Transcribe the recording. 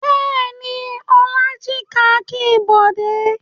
Bẹ́ẹ̀ ni, Ọlá jí kakí Bọ̀dé.